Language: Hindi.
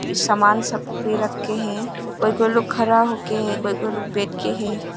ये समान सब पे रख के है कोई कोई लोग खड़ा हो के है कोई कोई लोग बैठ के है।